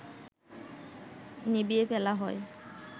নিভিয়ে ফেলা হয়